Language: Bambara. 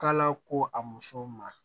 K'ala ko a musow ma